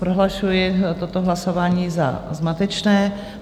Prohlašuji toto hlasování za zmatečné.